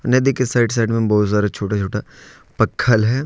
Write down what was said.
नदी के side side में बहुत सारा छोटा छोटा पक्खल है।